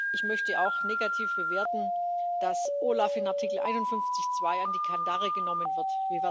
Ich möchte auch negativ bewerten, dass OLAF in Artikel 51 Absatz 2 an die Kandare genommen wird.